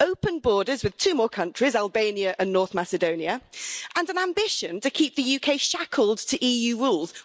open borders with two more countries Albania and North Macedonia and an ambition to keep the UK shackled to EU rules.